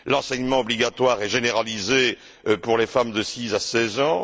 L'enseignement obligatoire est généralisé pour les femmes de 6 à 16 ans.